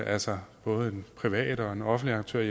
altså både en privat og en offentlig aktør